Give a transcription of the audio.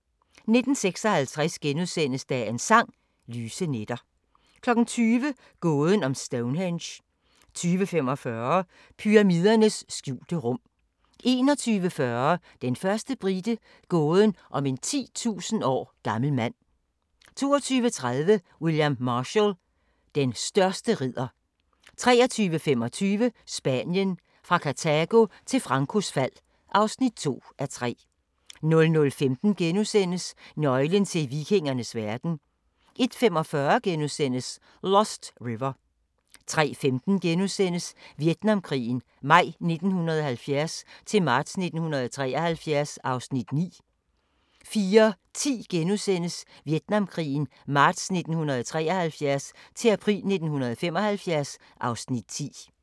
19:56: Dagens Sang: Lyse nætter * 20:00: Gåden om Stonehenge 20:45: Pyramidernes skjulte rum 21:40: Den første brite – gåden om en 10.000 år gammel mand 22:30: William Marshall: Den største ridder 23:25: Spanien – fra Kartago til Francos fald (2:3) 00:15: Nøglen til vikingernes verden * 01:45: Lost River * 03:15: Vietnamkrigen maj 1970-marts 1973 (Afs. 9)* 04:10: Vietnamkrigen marts 1973-april 1975 (Afs. 10)*